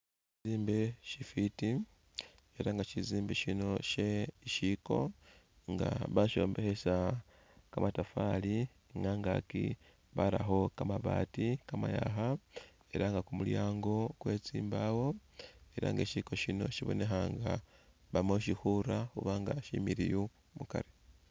Shishombekhe shifwiti ela nga shishombekhe shino she isiko nga basyombekhesa kamatafari ni khungaaki barakho kamabaati kamayaakha ela nga kumulyaango kwe tsimbaawo ela nga sisiko sino sibonekha nga bama khusisiinga khubanga similiyu mukari.